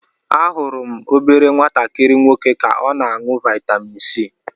Ahụrụ m obere nwatakịrị nwoke ka o na aṅụ vitamin c.